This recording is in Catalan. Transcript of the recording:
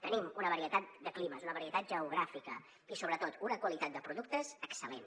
tenim una varietat de climes una varietat geogràfica i sobretot una qualitat de productes excel·lent